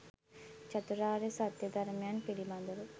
චතුරාර්ය සත්‍ය ධර්මයන් පිළිබඳව